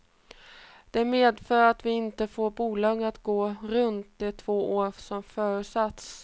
Det medför att vi inte får bolaget att gå runt de två år som förutsatts.